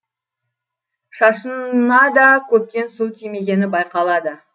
шашына да көптен су тимегені байқалады